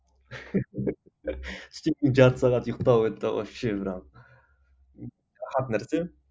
түстен кейін жарты сағат ұйқтау это вообще нәрсе